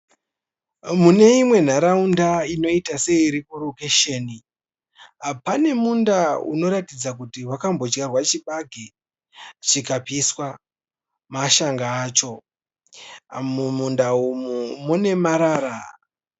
Mune imwe nharaunda inoita seiri kurokesheni. Pane munda unoratidza kuti wakambodyarwa chibage chikapiswa mashanga acho. Mumunda umu mune marara.